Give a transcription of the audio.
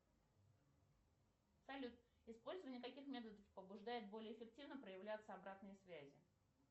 салют использование каких методов побуждает более эффективно проявляться обратной связи